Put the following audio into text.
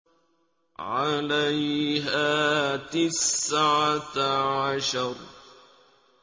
عَلَيْهَا تِسْعَةَ عَشَرَ